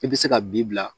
I bɛ se ka bi bila